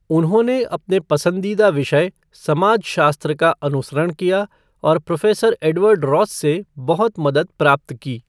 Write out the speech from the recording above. उन्होंने अपने पसंदीदा विषय, समाजशास्त्र, का अनुसरण किया और प्रोफ़ेसर एडवर्ड रॉस से बहुत मदद प्राप्त की।